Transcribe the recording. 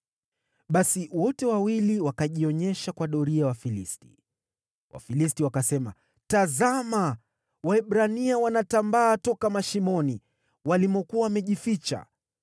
Basi wote wawili wakajionyesha kwa doria ya Wafilisti. Wafilisti wakasema, “Tazama! Waebrania wanatambaa toka mashimoni walimokuwa wamejificha.”